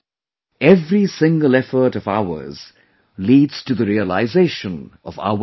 Every single effort of ours leads to the realization of our resolve